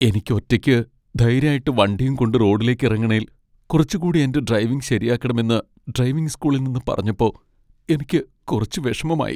എനിക്ക് ഒറ്റയ്ക്ക് ധൈര്യായിട്ട് വണ്ടിയും കൊണ്ട് റോഡിലേക്കിറങ്ങണേൽ കുറച്ച് കൂടി എന്റെ ഡ്രൈവിംഗ് ശരിയാക്കണമെന്ന് ഡ്രൈവിംഗ് സ്കൂളിൽ നിന്ന് പറഞ്ഞപ്പോ എനിക്ക് കുറച്ച് വിഷമമായി.